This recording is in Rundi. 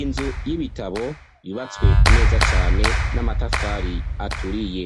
Inzu y'ibitabo yubatswe neza cane n'amatafari aturiye,